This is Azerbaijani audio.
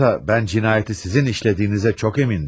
Oysa mən cinayəti sizin işlədiyinizə çox əmindim.